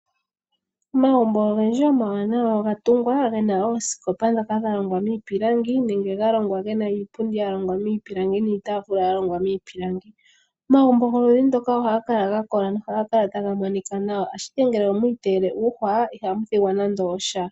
Omagumbo ogendji omawanawa oga tungwa ge na oosikopa ndhoka dha longwa miipilangi nenge ga longwa ge na iipundi ya longwa miipilangi niitaafula ya longwa miipilangi. Omagumbo goludhi ndoka ohaga kala ga kola, nohaga kala taga monika nawa, ashike ngele omwi iteyele uuhwa, iha mu thigwa nande osha.